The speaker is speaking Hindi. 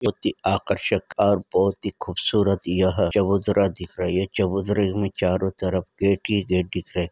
बहुत ही आकर्षक और बहुत ही खूबसूरत यह चबुतरा दिख रही है यह चबुतरे मे चारो तरफ गेट ही गेट दिख रहे है।